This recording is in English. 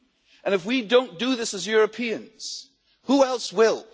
And if we do not do this as Europeans, who else will?